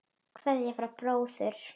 Kveðja frá bróður.